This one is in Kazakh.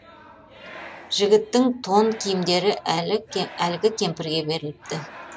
жігіттің тон киімдері әлгі кемпірге беріліпті